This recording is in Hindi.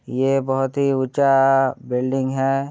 ये बहुत ही ऊँचा बिल्डिंग है ।